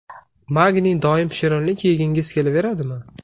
Magniy Doim shirinlik yegingiz kelaveradimi?